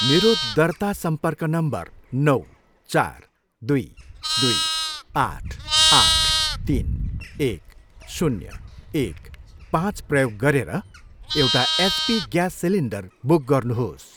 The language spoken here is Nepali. मेरो दर्ता सम्पर्क नम्बर नौ, चार, दुई, दुई, आठ, आठ, तिन, एक, शून्य, एक पाँच प्रयोग गरेर एचपी एउटा ग्यास सिलिन्डर बुक गर्नुहोस्।